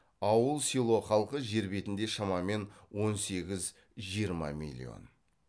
ауыл село халқы жер бетінде шамамен он сегіз жиырма миллион